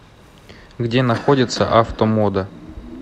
где находится автомода